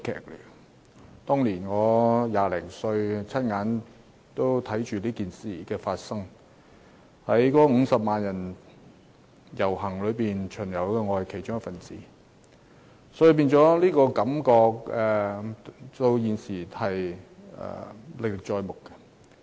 我當年20多歲，親眼看着事件發生，在50萬人遊行隊伍之中，我亦是其中一分子，所以感覺到現時仍歷歷在目。